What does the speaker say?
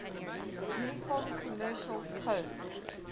uniform commercial code